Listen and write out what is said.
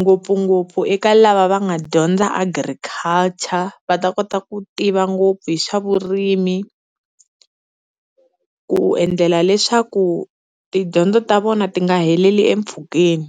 ngopfungopfu eka lava va nga dyondza Agriculture va ta kota ku tiva ngopfu hi swa vurimi ku endlela leswaku tidyondzo ta vona ti nga heleli empfhukeni.